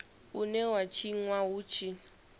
une wa tshinwa hu tshi